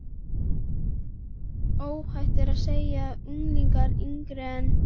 Óhætt er að segja að unglingar yngri en